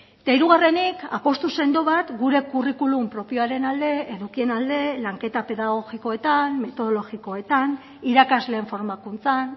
eta hirugarrenik apustu sendo bat gure curriculum propioaren alde edukien alde lanketa pedagogikoetan metodologikoetan irakasleen formakuntzan